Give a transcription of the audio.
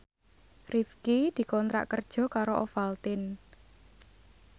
Rifqi dikontrak kerja karo Ovaltine